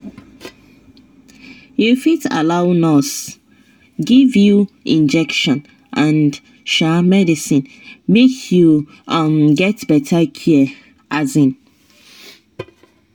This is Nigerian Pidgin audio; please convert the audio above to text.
you fit allow nurse give you injection and um medicine make you um get better care um